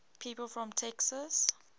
people from texas